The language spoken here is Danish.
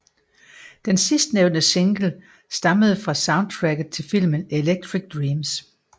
Den sidstnævnte single stammede fra soundtracket til filmen Electric Dreams